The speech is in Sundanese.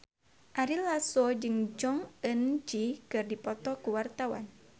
Ari Lasso jeung Jong Eun Ji keur dipoto ku wartawan